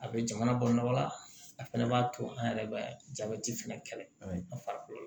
A bɛ jamana balo bala a fana b'a to an yɛrɛ bɛ jabɛti fɛnɛ kɛlɛ an fari la